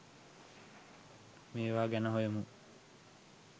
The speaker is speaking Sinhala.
මේවා ගැන හොයමු.